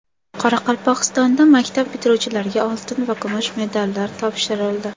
Qoraqalpog‘istonda maktab bitiruvchilariga oltin va kumush medallar topshirildi.